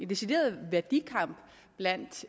decideret værdikamp blandt